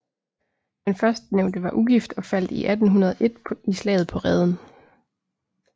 Den førstnævnte var ugift og faldt 1801 i slaget på Reden